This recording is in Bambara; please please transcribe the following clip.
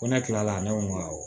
Ko ne kila la ne ko n ma wo